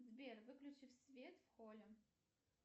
сбер выключи свет в холле